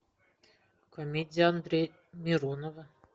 комедия андрея миронова